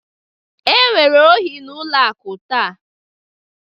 Enwere ohi n'ụlọ akụ taa